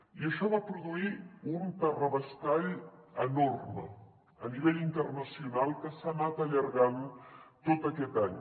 i això va produir un terrabastall enorme a nivell internacional que s’ha anat allargant tot aquest any